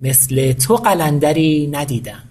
مثل تو قلندری ندیدم